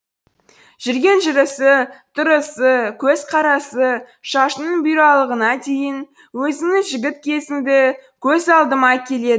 жүрген жүрісі тұрысы көзқарасы шашының бұйралығына дейін өзіңнің жігіт кезіңді көз алдыма әкеледі